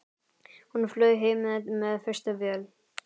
Hún flaug heim með fyrstu vél.